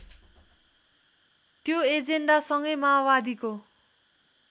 त्यो एजेन्डासँगै माओवादीको